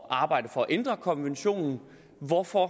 at arbejde for at ændre konventionen hvorfor